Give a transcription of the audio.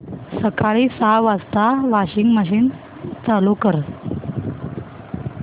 सकाळी सहा वाजता वॉशिंग मशीन चालू कर